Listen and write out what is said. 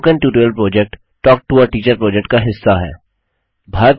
spoken tutorial project talk to a teacher project का हिस्सा है